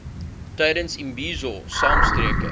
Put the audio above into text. tydens imbizo saamtrekke